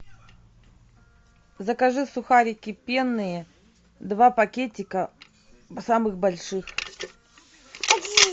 закажи сухарики пенные два пакетика самых больших